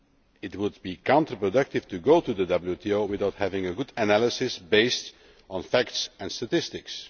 It would be counterproductive to go to the WTO without having a good analysis based on facts and statistics.